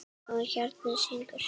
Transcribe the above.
Og hjarnið syngur.